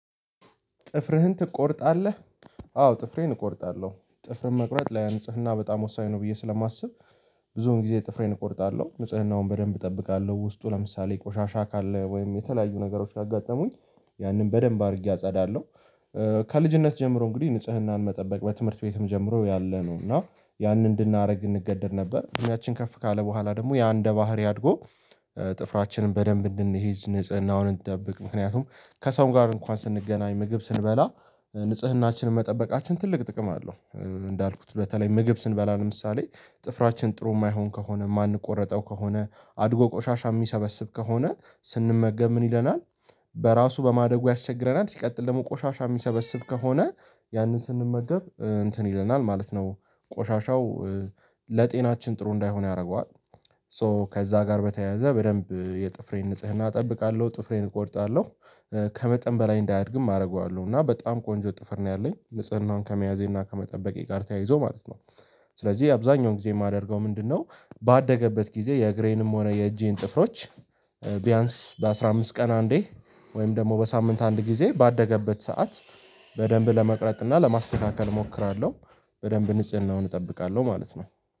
ጥፍርህን ትቆርጣለህ? አዎ ጥፍሬን እቆርጣለሁ ጥፍር መቁረጥ ላይ አንጽህና በጣም ወሳኝ ነው ብዬ ስለማስብ። ብዙውን ጊዜ ጥፍሬን እቆርጣለሁ ንጽናውን በደንብ እጠብቃለሁ ውስጡ ለምሳሌ ቆሻሻ ካለ ወይም የተለያዩ ነገሮች ካጋጠሙኝ ያንን በደንብ አድርጌ አጸዳለሁ። ከልጅነት ጀምሮ እንግዲህ ንጽህናን መጠበቅ በትምህርት ቤትም ጀምሮ ያለ ነው እና ያንን እንድናደግ እንገደድ ነበር። እድሚያችን ከፍ ካለ በኋላ ደግሞ ያ እንደ ባህሪ አድጎ ጥፍራችንን በደንብ እንድንይዝ ንጽህናውን እንድንጠብቅ ምክንያቱም ከሰው ጋር እንኳን ስንገናኝ ምግብ ስንበላ ንጽህናችንን መጠበቃችን ትልቅ ጥቅም አለው። እንዳልኩት በተለይ ምግብ ስንበላ ለምሳሌ ጥፍራችን ጥሩ የማይሆን ከሆነ የማንቆረጠው ከሆነ አድጎ ቆሻሻ የሚሰበስብ ከሆነ ስንመገብ ምን ይለናል? በራሱ በማደጉ ያስቸግረናል ሲቀጥል ደግሞ ቆሻሻ የሚሰበስብ ከሆነ ያንን ስንመገብ እንትን ይለናል ማለት ነው። ቆሻሻው ለጤናችን ጥሩ እንዳይሆን ያደርገዋል። ሶ ከዛ ጋር በተያያዘ በደንብ የጥፍሬን ንጽህና እጠብቃለሁ ጥፍሬን እቆይታለሁ። ከመጠን በላይ እንዳያድግም አደርገዋለሁ እና በጣም ቆንጆ ጥፍር ነው ያለኝ ንጽህናውን ከመያዜና ከመጠበቄ ጋር ተያይዞ ማለት ነው። ስለዚህ አብዛኛውን ጊዜ የማደርገው ምንድነው? ባደገበት ጊዜ የእግሬንም ሆነ የእጄን ጥፍሮች ቢያንስ በአሥራ አምስት ቀን አንዴ ወይም ደግሞ በሳምንት አንድ ጊዜ ባደገበት ሰዓት በደንብ ለመቅረጥ እና ለማስተካከል እሞክራለሁ። በደንብ ንጽህናውን እጠብቃለሁ ማለት ነው